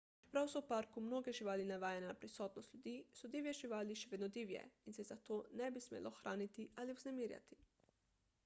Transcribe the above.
čeprav so v parku mnoge živali navajene na prisotnost ljudi so divje živali še vedno divje in se jih zato ne bi smelo hraniti ali vznemirjati